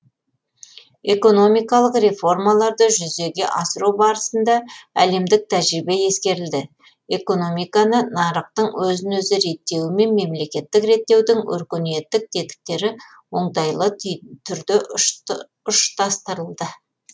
экономикалық реформаларды жүзеге асыру барысында әлемдік тәжірибе ескерілді экономиканы нарықтың өзін өзі реттеуі мен мемлекеттік реттеудің өркениеттік тетіктері оңтайлы түрде ұштастырылды